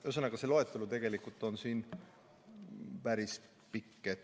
Noh, ühesõnaga see loetelu on päris pikk.